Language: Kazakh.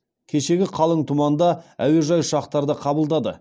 кешегі қалың тұманда әуежай ұшақтарды қабылдады